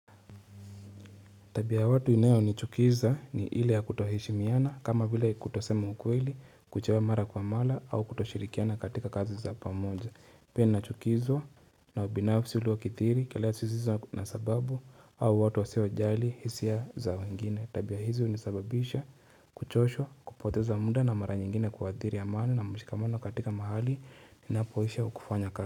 Tabia ya watu inayonichukiza ni ile ya kutoheshimiana kama vile kutosema ukweli kuchelewa mara kwa mara au kutoshirikiana katika kazi za pamoja. Pia nachukizwa na ubinafsi uliokidhiri kila hisia na sababu au ni watu wasiojali hisia za wengine. Tabia hizi unisababisha kuchoshwa kupoteza muda na mara nyingine kuadhiri ya maana na mshikamano katika mahali ninapoishiwa kufanya kazi.